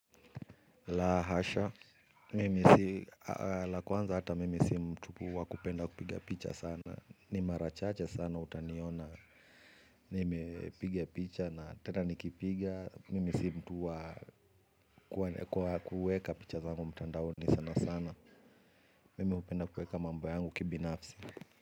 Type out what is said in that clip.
La hasha, mimi si la kwanza hata mimi si mtu wa kupenda kupiga picha sana. Ni mara chache sana utaniona. Nimepiga picha na tena nikipiga mimi si mtu wa kwa kuweka picha zangu mtandaoni sana sana. Mimi hupenda kueka mambo yangu kibinafsi.